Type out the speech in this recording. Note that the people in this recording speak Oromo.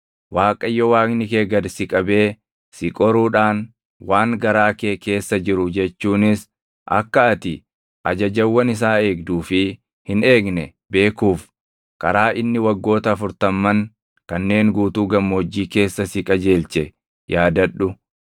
Waaqayyo Waaqni kee gad si qabee si qoruudhaan waan garaa kee keessa jiru jechuunis akka ati ajajawwan isaa eegduu fi hin eegne beekuuf karaa inni waggoota afurtamman kanneen guutuu gammoojjii keessa si qajeelche yaadadhu.